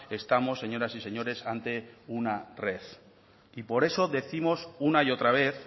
estamos señoras y señores ante una red y por eso décimos una y otra vez